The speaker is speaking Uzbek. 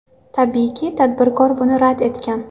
Tabiiyki, tadbirkor buni rad etgan.